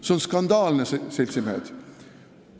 See on skandaalne, seltsimehed!